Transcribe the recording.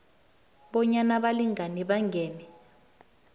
bonyana abalingani bangene